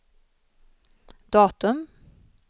datum